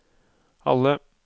alle